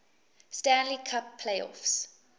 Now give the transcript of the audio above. stanley cup playoffs